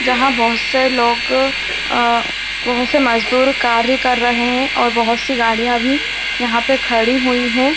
जहाँ बहुत से लोग अ बहुत से मजदूर कार्य कर रहे हैं और बहुत सी गाड़ियाँ भी यहाँ पे खड़ी हुई हैं।